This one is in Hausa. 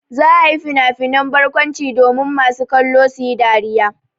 Za a yi finafinan barkwanci domin masu kallo su yi dariya.